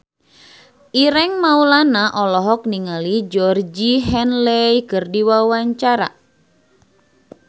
Ireng Maulana olohok ningali Georgie Henley keur diwawancara